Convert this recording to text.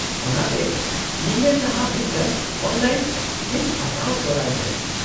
-ᱚᱱᱟᱛᱮ, ᱧᱮᱧᱮᱞ ᱞᱟᱦᱟ ᱢᱤᱫᱴᱟᱝ ᱚᱱᱞᱟᱭᱤᱱ ᱥᱞᱤᱯ ᱦᱟᱛᱟᱣ ᱛᱚᱨᱟᱭ ᱯᱮ ᱾